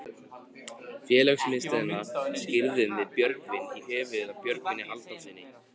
Félagsmiðstöðina skírðum við Björgvin í höfuðið á Björgvini Halldórssyni.